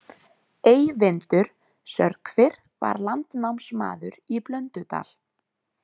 Eyvindur sörkvir var landnámsmaður í Blöndudal.